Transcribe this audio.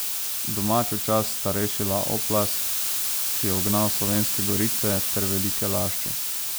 Domačo čast sta rešila Oplast, ki je ugnal Slovenske Gorice, ter Velike Lašče.